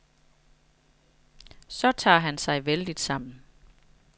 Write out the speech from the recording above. Så tager han sig vældigt sammen.